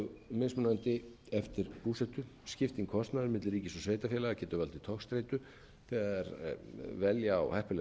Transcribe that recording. sambýlis mjög mismunandi eftir búsetu skipting kostnaðar milli ríkis og sveitarfélaga getur valdið togstreitu þegar velja á heppilegt